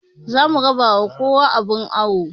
Zamu raba ma kowa abun awo